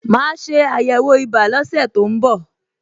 Màá ṣe àyẹ̀wò ibà lọ́sẹ̀ tó ń bọ̀